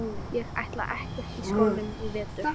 Ég ætla ekkert í skólann í vetur.